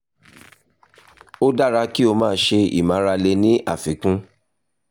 ó dára kí o máa ṣe eré ìmárale ní àfikún